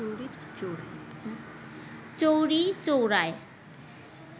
চৌরি চৌরায়